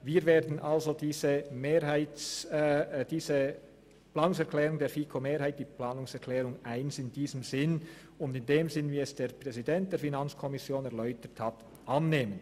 Wir werden die Planungserklärung 1 der FiKo-Mehrheit in diesem Sinne und im Sinne der Erläuterungen des FiKo-Präsidenten annehmen.